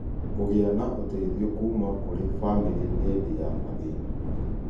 Kũgĩa na ũteithio kuuma kũrĩ bamĩrĩ hĩndĩ ya mathĩna